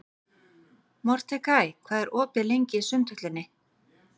Mordekaí, hvað er opið lengi í Sundhöllinni?